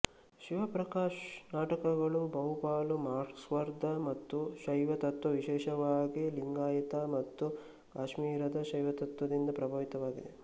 ಶಿವಪ್ರಕಾಶ್ ನಾಟಕಗಳು ಬಹುಪಾಲು ಮಾರ್ಕ್ಸ್ವಾದ ಮತ್ತು ಶೈವ ತತ್ವ ವಿಶೇಷವಾಗಿ ಲಿಂಗಾಯಿತ ಮತ್ತು ಕಾಶ್ಮೀರದ ಶೈವತತ್ವದಿಂದ ಪ್ರಭಾವಿತವಾಗಿವೆ